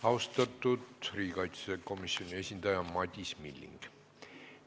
Austatud riigikaitsekomisjoni esindaja Madis Milling!